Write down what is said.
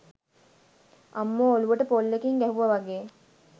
අම්මෝ ඔලුවට පොල්ලකින් ගැහුව වගේ